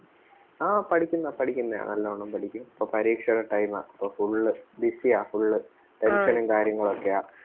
ആ പഠിക്കുന്ന പഠിക്കുന്നെയാ നല്ലോണം പഠിക്കും ഇപ്പം പരീക്ഷേടെ time ആ അപ്പം full busy ആ full tension ഉം കാര്യങ്ങളും ഒക്കെയാ